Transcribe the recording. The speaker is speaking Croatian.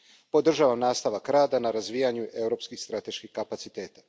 Podržavam nastavak rada na razvijanju europskih strateških kapaciteta.